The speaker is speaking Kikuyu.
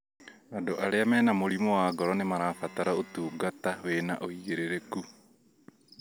Andũ arĩa mena mũrimũ wa ngoro nĩmarabatara ũtungata wĩna ũigĩrĩrĩku